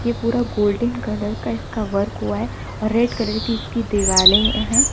पूरा golden colour का इसका वर्क हुआ है और रेड कलर की उसकी दीवाले है।